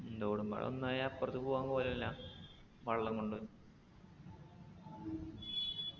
ഉം തോടും പാടും ഒന്നായ അപ്പർത്ത് പോവാൻ കോലുല്ല വെള്ളം കൊണ്ട്